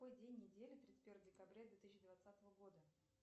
какой день недели тридцать первое декабря две тысячи двадцатого года